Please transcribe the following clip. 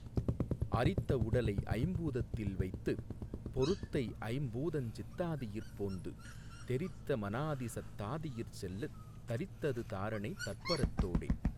அரித்த வுடலைஐம் பூதத்தில் வைத்துப் பொருத்தைஐம் பூதஞ்சித் தாதியிற் போந்து தெரித்த மனாதிசத் தாதியிற் செல்லத் தரித்தது தாரணை தற்பரத் தோடே.